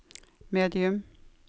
medium